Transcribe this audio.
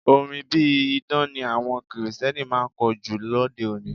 Orin bí idán ni àwọn Kirìtẹ́nì máa ń kọ jù lóde-òní.